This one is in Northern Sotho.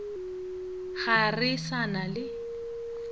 ga re sa na le